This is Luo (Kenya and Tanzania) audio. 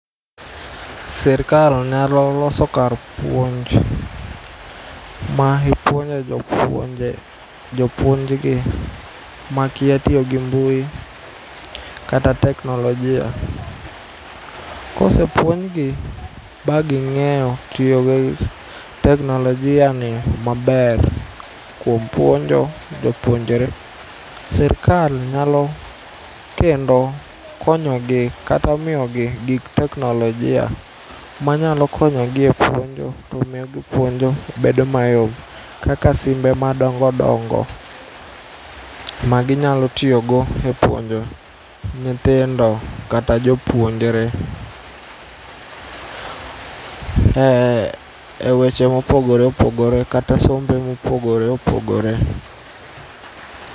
Sirkal nyalo loso kar puonj ma ipuonjo jopuonje, jopuonjgi makia tiyogi mbui kata teknolojia. Kosepuonjgi baging'eyo tiyogi teknolojia ni maber kuom puonjo jopuonjre. Sirkal nyalo kendo konyogi kata miyogi gik teknolojia manyalo konyogi epuonjo tomiyo puonjo bedo mayom kaka simbe madongodongo maginyalo tiyogo e puonjo nyithindo kata jopuonjre ee weche mopogore opogore kata sombe mopogore opogore.